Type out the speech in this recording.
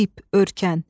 ip, örkən.